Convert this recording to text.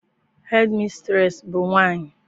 Hedimistreesị bụ nwaanyị.